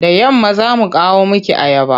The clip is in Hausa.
Da yamma za mu kawo miki ayaba.